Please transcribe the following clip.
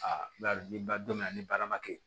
ni ba don bɛ yan ni baara ma kɛ